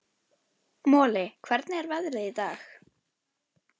Moli, hvernig er veðrið í dag?